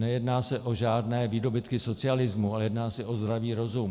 Nejedná se o žádné výdobytky socialismu, ale jedná se o zdravý rozum.